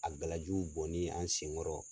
A gala jiw bɔnni anw sen kɔrɔ